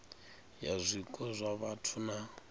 ya zwiko zwa vhathu na